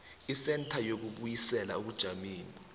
isentha yokubuyisela ebujameni